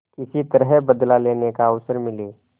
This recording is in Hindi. किसी तरह बदला लेने का अवसर मिले